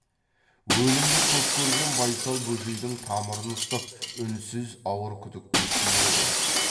өлімді көп көрген байсал бөжейдің тамырын ұстап үнсіз ауыр күдіктің үстінде отыр еді